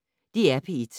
DR P1